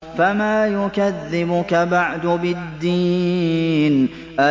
فَمَا يُكَذِّبُكَ بَعْدُ بِالدِّينِ